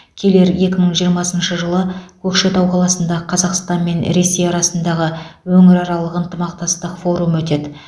келер екі мың жиырмасыншы жылы көкшетау қаласында қазақстан мен ресей арасындағы өңіраралық ынтымақтастық форумы өтеді